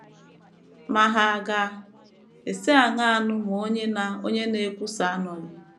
ma hà ga - esi aṅaa nụ ma onye na - onye na - ekwusa anọghị? ”